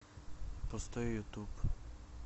пустой ютуб